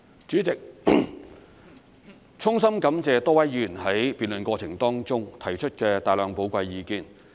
主席，衷心感謝多位議員在辯論過程當中提出的大量寶貴意見。